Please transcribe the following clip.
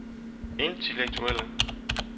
intellektuelle